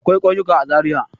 Akwai ƙauyuka a Zariya.